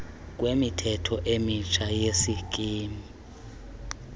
kwemithetho emitsha yesikimu